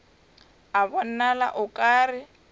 a bonala o ka re